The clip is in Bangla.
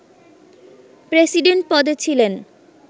প্রেসিডেন্ট পদে ছিলেন